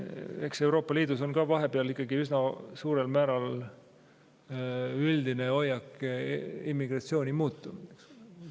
Eks Euroopa Liidus on ka vahepeal üsna suurel määral üldine hoiak immigratsiooni suhtes muutunud.